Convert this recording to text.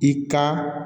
I ka